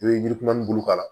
I bɛ yiri kuman bolo k'a la